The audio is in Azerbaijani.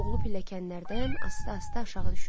Oğlu pilləkənlərdən asta-asta aşağı düşürdü.